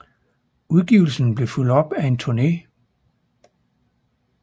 Udgivelsen blev fulgt op af en turné